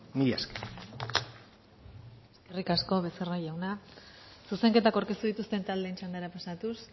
mila esker eskerrik asko becerra jauna zuzenketak aurkeztu dituzten taldeen txandara pasatuz